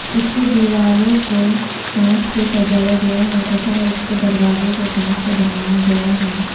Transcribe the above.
इसके दीवारों को कांच से सजाया गया है तथा इसके दरवाजे को कांच से बनाया गया है।